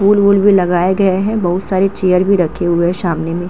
फूल वूल भी लगाया गया है। बहोत सारे चेयर भी रखे हुए हैं सामने में।